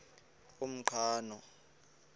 umqhano